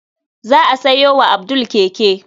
Za a sayo wa Abdul keke.